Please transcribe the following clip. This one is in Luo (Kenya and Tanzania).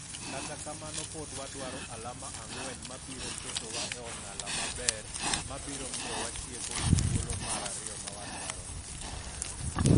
Kata kamano pod wadwaro alama ang'wen mabiro ketowa e ong'ala maber mabiro miyo watieki e thuolo mar ariyomawadwaro no.